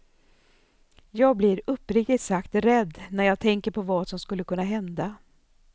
Jag blir uppriktigt sagt rädd när jag tänker på vad som skulle kunna hända.